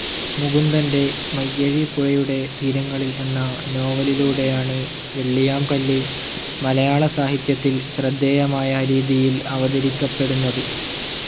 മുകുന്ദൻ്റെ മയ്യഴിപ്പുഴയുടെ തീരങ്ങളിൽ എന്ന നോവലിലൂടെയാണ് വെള്ളിയാംകല്ല് മലയാളസാഹിത്യത്തിൽ ശ്രദ്ധേയമായ രീതിയിൽ അവതരിപ്പിക്കപ്പെടുന്നത്.